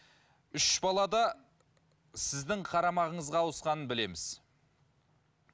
үш бала да сіздің қарамағыңызға ауысқанын білеміз